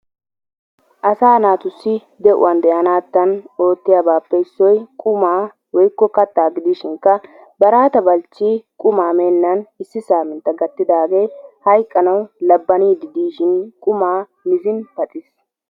Asaa naatussi de'uwan de'anaadan ootiyabatuppe issoy qummaa woykko kattaa gidishinkka Baraata Balchchi qummaa meenaan issi samminttaa gattidaagee hayqqanawu labbaniidi diishin qummaa mizziin paxxiis.